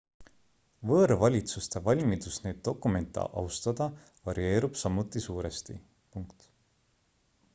võõrvalitsuste valmidus neid dokumente austada varieerub samuti suuresti